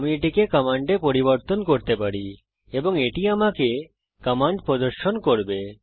আমি এটিকে কমান্ড এ পরিবর্তন করতে পারি এবং এটি আমাকে কমান্ড প্রদর্শন করবে